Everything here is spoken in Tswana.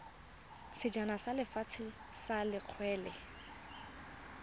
sejana sa lefatshe sa kgwele